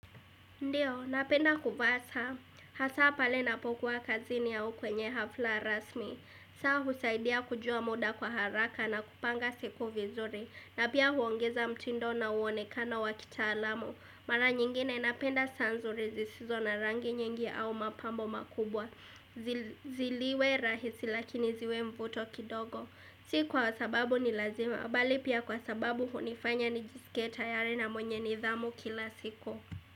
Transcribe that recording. Ndiyo, napenda kuvaa saa, hasa pale ninapokuwa kazini ya kwenye hafla rasmi, saa husaidia kujua muda kwa haraka na kupanga siku vizuri, na pia huongeza mtindo na mwonekano wa kitaalamu, mara nyingine napenda saa nzuri zisizo na rangi nyingi au mapambo makubwa, ziliwe rahisi lakini ziwe mvuto kidogo, si kwa sababu ni lazima, bali pia kwa sababu hunifanya nijisikie tayari na mwenye nidhamu kila siku.